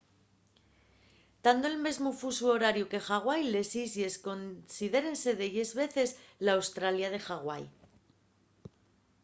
tando nel mesmu fusu horariu que ḥawai les islles considérense delles veces l’australia de ḥawai